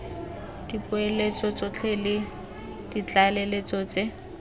dipoeletso tsotlhe le ditlaleletso tse